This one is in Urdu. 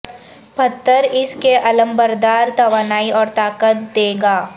پتھر اس کے علمبردار توانائی اور طاقت دے گا